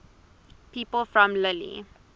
people from lille